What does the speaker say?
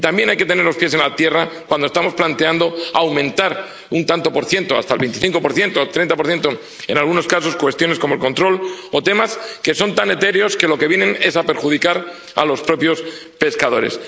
Y también hay que tener los pies en la tierra cuando estamos planteando aumentar un tanto por ciento, hasta el 25 o hasta el 30 en algunos casos, cuestiones como el control o temas que son tan etéreos que lo que hacen es perjudicar a los propios pescadores.